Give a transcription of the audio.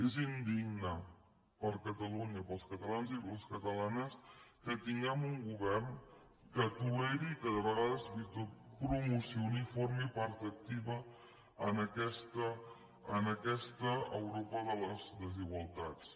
és indigne per a catalunya per als catalanes i per a les catalanes que tinguem un govern que toleri i que de vegades fins i tot promocioni formi part activa en aquesta europa de les desigualtats